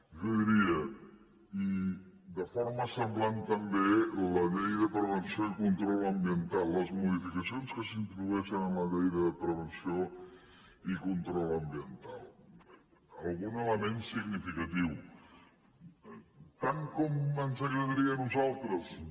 jo diria i de forma semblant també la llei de prevenció i control ambiental les modificacions que s’introdueixen a la llei de prevenció i control ambiental algun element significatiu eh tant com ens agradaria a nosaltres no